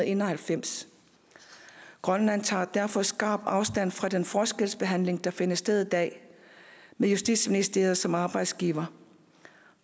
en og halvfems grønland tager derfor skarpt afstand fra den forskelsbehandling der finder sted i dag med justitsministeriet som arbejdsgiver